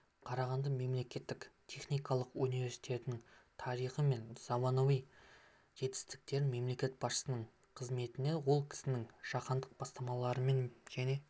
қарағанды мемлекеттік техникалық университетінің тарихы мен заманауи жетістіктері мемлекет басшысының қызметімен ол кісінің жаһандық бастамаларымен және